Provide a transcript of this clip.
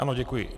Ano, děkuji.